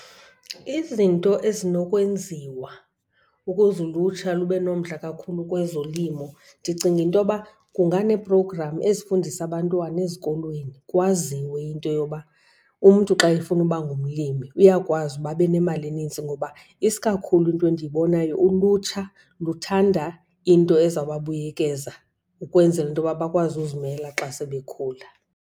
Izinto ezinokwenziwa ukuze ulutsha lube nomdla kakhulu kwezolimo, ndicinga into yoba kunganee-program ezifundisa abantwana ezikolweni. Kwaziwe into yoba umntu xa efuna uba ngumlimi uyakwazi uba abe nemali enintsi ngoba isikakhulu into endiyibonayo, ulutsha luthanda into ezawubabuyekeza ukwenzela into yoba bakwazi ukuzimela xa sebekhula.